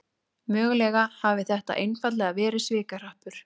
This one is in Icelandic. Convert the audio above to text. Mögulega hafi þetta einfaldlega verið svikahrappur